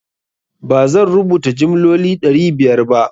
ba zan rubuta jimloli ɗari biyar ba.